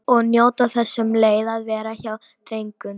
Og njóta þess um leið að vera hjá drengnum.